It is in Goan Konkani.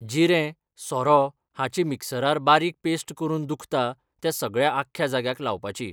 जिरें, सोरो हाची मिक्सरार बारीक पेस्ट करून दुखता त्या सगळ्या आख्ख्या जाग्याक लावपाची.